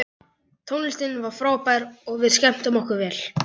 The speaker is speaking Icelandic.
Tónlistin var frábær og við skemmtum okkur vel.